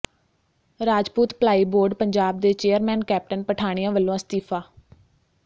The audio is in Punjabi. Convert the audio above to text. ਰਾਜਪੂਤ ਭਲਾਈ ਬੋਰਡ ਪੰਜਾਬ ਦੇ ਚੇਅਰਮੈਨ ਕੈਪਟਨ ਪਠਾਣੀਆਂ ਵੱਲੋਂ ਅਸਤੀਫਾ